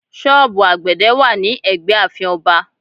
Sọ́ọ̀bù àgbẹ̀dẹ̀ wà ní ẹgbẹ́ ààfin Ọba